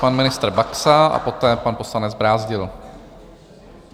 Pan ministr Baxa a poté pan poslanec Brázdil.